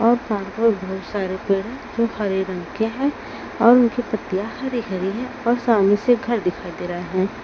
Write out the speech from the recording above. और साथ में बहुत सारे पेड़ हैं जो हरे रंग के हैं और उनकी पत्तियां हरि हरि है और सामने से घर दिखाई दे रहा है।